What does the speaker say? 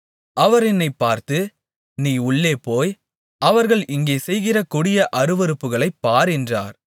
அவர் என்னைப் பார்த்து நீ உள்ளேபோய் அவர்கள் இங்கே செய்கிற கொடிய அருவருப்புகளைப் பார் என்றார்